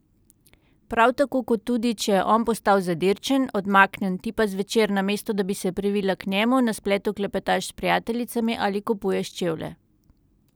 Prav tako kot tudi, če je on postal zadirčen, odmaknjen, ti pa zvečer, namesto, da bi se privila k njemu, na spletu klepetaš s prijateljicami ali kupuješ čevlje.